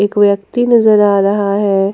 एक व्यक्ति नजर आ रहा है।